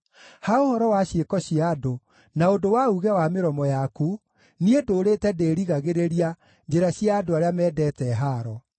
Ha ũhoro wa ciĩko cia andũ, na ũndũ wa uuge wa mĩromo yaku niĩ ndũũrĩte ndĩrigagĩrĩria njĩra cia andũ arĩa mendete haaro.